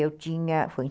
Eu tinha, foi